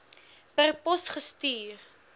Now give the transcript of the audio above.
per pos gestuur